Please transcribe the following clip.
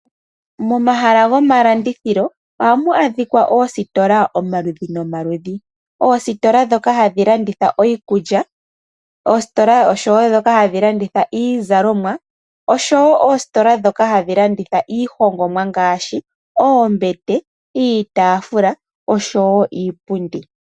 Momahala gomalandithilo ohamu adhikwa oositola omaludhi nomaludhi. Oositola dhoka hadhi landitha iikulya, oositola oshowo dhoka hadhi landitha iizalomwa oshowo oositola dhoka hadhi landitha iihongomwa ngaashi oombete, iitafula oshowo iipundi.